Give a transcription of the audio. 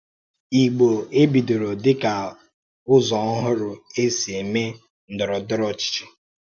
Ìgbò é bìdòrò dị̀ka ụzọ̀ ọ́hụrụ e sì emè ndọrọ̀ndọrọ̀ ọ́chịchì?